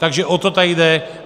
Takže o to tady jde.